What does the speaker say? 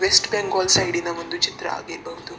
West Bengal ಸೈಡಿನ ಒಂದು ಚಿತ್ರ ಆಗಿರಬಹುದು --